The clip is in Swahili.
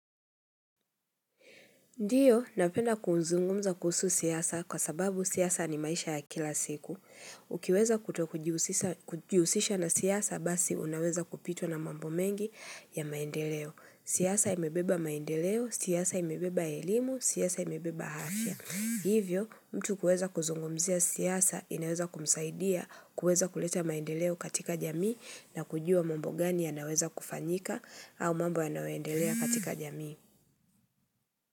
Ndio, napenda kuzungumza kuhusu siasa kwa sababu siasa ni maisha ya kila siku. Ukiweza kuto kujihusisha na siasa basi unaweza kupitwa na mambo mengi ya maendeleo. Siasa imebeba maendeleo, siasa imebeba elimu, siasa imebeba afya. Hivyo, mtu kuweza kuzungumzia siasa inaweza kumsaidia, kuweza kuleta maendeleo katika jamii na kujua mambo gani yanaweza kufanyika au mambo yanayoendelea katika jamii.